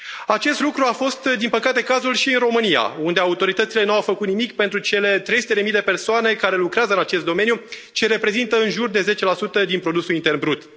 Acest lucru a fost, din păcate, cazul și în România, unde autoritățile nu au făcut nimic pentru cele trei sute de mii de persoane care lucrează în acest domeniu și reprezintă în jur de 10 din produsul intern brut.